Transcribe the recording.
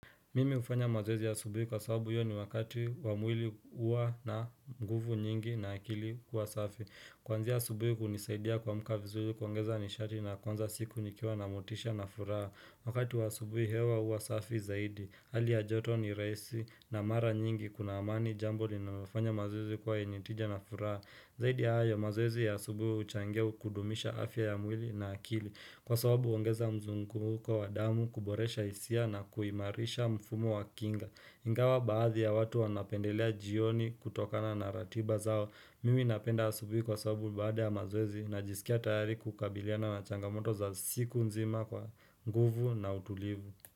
Mimi hufanya mazoezi ya asubuhi kwa sababu hiyo ni wakati wa mwili huwa na nguvu nyingi na akili kuwa safi. Kwanzia asubuhi hunisaidia kuamka vizuri kuongeza nishati na kuanza siku nikiwa na motisha na furaha. Wakati wa subuhi hewa huwa safi zaidi. Hali ya joto ni rahisi na mara nyingi kunaamani jambo ni nafanya mazwezi kuwa enitija na furaha. Zaidi hayo mazoezi ya asubuhi huchangia kudumisha afya ya mwili na akili. Kwa sababu uongeza mzunguko wa wa damu, kuboresha hisia na kuimarisha mfumo wa kinga Ingawa baadhi ya watu wanapendelea jioni kutokana na ratiba zao Mimi napenda asubihi kwa sababu baada ya mazoezi najiskia tayari kukabiliana na changamoto za siku nzima kwa nguvu na utulivu.